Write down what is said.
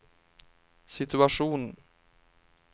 situation